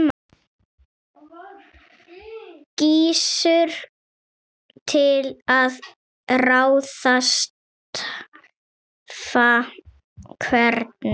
Gissur: Til að ráðstafa hvernig?